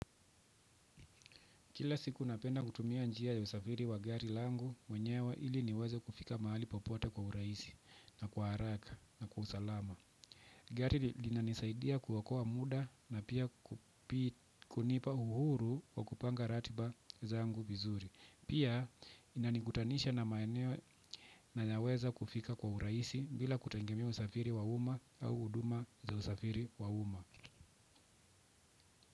Kila siku napenda kutumia njia ya usafiri wa gari langu mwenyewa ili niweze kufika mahali popote kwa urahisi na kwa haraka na kwa usalama. Gari linanisaidia kuokoa muda na pia kunipa uhuru wa kupanga ratiba zangu vizuri. Pia inanikutanisha na maeneo nayoweza kufika kwa urahisi bila kutegemea usafiri wa uma au huduma za usafiri wa uma.